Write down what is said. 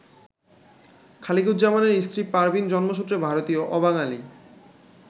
খালিকুজ্জামানের স্ত্রী পারভীন জন্মসূত্রে ভারতীয়, অবাঙালি।